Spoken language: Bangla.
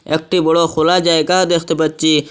একটি বড়ো খোলা জায়গা দেখতে পাচ্ছি।